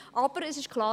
Aber es ist klar: